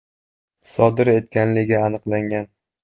sodir etganligi aniqlangan.